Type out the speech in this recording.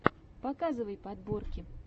показывай подборки